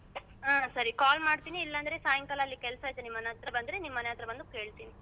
ಹಾ ಸರಿ call ಮಾಡ್ತೀನಿ ಇಲ್ಲಾಂದ್ರೆ ಸಾಯ್ಕಲ್ ಅಲ್ಲಿ ಕೆಲಸ ಇದೆ ನಿಮ್ ಮನೆ ಅತ್ರ ಬಂದ್ರೆ ನಿಮ್ ಮನೆ ಅತ್ರ ಬಂದು ಹೇಳ್ತಿನಿ.